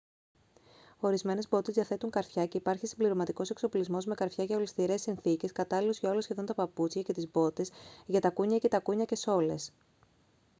ορισμένες μπότες διαθέτουν καρφιά και υπάρχει συμπληρωματικός εξοπλισμός με καρφιά για ολισθηρές συνθήκες κατάλληλος για όλα σχεδόν τα παπούτσια και τις μπότες για τακούνια ή και τακούνια και σόλες